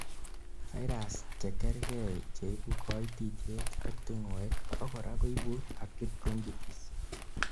viruses chekergei cheibu koitityet ak tingoek abakora koibu acute bronchitis